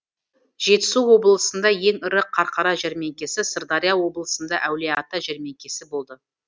жетісу облысында ең ірі қарқара жәрмеңкесі сырдария облысында әулиеата жәрмеңкесі болды